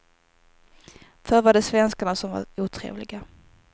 Förr var det svenskarna som var otrevliga.